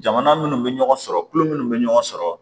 Jamana minnu bɛ ɲɔgɔn sɔrɔ tulo minnu bɛ ɲɔgɔn sɔrɔ